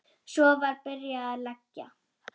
Svo var byrjað að leggja.